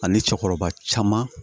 Ani cɛkɔrɔba caman